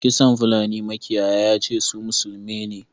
Kisan fulani makiyaya yace su musulmi ne.